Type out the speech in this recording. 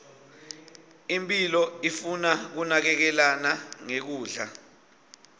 imphilo ifuna kunakekelana nge kudla